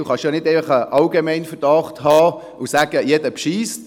Man kann ja nicht einfach einen Allgemeinverdacht hegen und sagen, jeder betrüge.